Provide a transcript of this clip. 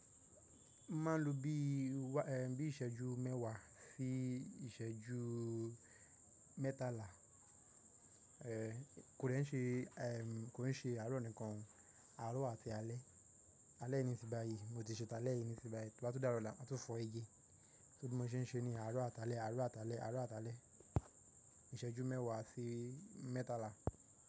Máa ń lo bí i, ẹ́ bí ìsẹ́jú mẹ́wàá sí ìsẹ́jú mẹ́tàlá. Kò dè ń ṣe, kò dè ń ṣe àárọ̀ nìkan, àárọ̀ àti alẹ́. Alẹ́ nisínyi bàyí, mo ti ṣe talẹ́ yìí nísínyi bàyí, tó bá tun dárọ̀ ola maa tun fọ again. Só bi mọ ṣe ń ṣe ni àárọ̀ àti alẹ́, àárọ̀ àti alẹ́, àárọ̀ àti alẹ́. Ìsẹ́jú mẹ́wàá sí mẹ́tàlá.